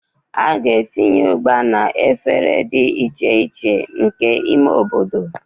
A ga-etinye Ugba na efere dị iche iche nke ime obodo.